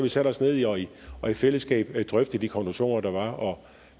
sat os ned og i og i fællesskab drøftet de konklusioner der var og